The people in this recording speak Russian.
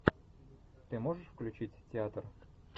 ты можешь включить театр